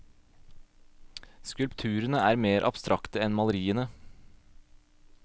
Skulpturene er mer abstrakte enn maleriene.